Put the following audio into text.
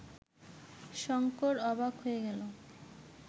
শঙ্কর অবাক হয়ে গেল